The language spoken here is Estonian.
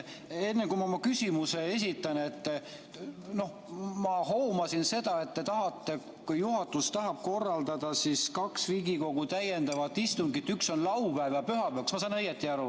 Enne, kui ma küsimuse esitan, ma hoomasin seda, et te tahate, juhatus tahab korraldada kaks Riigikogu täiendavat istungit, üks on laupäev ja pühapäev.